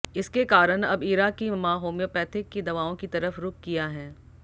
इसके कारण अब इरा की मां हैम्योपैथिक की दवाओं की तरफ रुख किया हैं